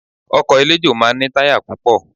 Ọkọ̀ eléjò máa ń ní táyà púpọ̀